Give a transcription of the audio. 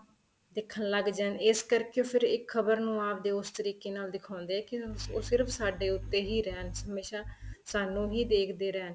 ਦੇਖਣ ਲੱਗ ਜਾਣ ਇਸ ਕਰਕੇ ਫ਼ਿਰ ਇੱਕ ਖਬਰ ਨੂੰ ਆਪਦੇ ਉਸ ਤਰੀਕੇ ਨਾਲ ਦਿਖਾਉਦੇ ਕੀ ਉਹ ਸਿਰਫ਼ ਉੱਤੇ ਹੀ ਰਹਿਣ ਹਮੇਸ਼ਾ ਸਾਨੂੰ ਹੀ ਦੇਖਦੇ ਰਹਿਣ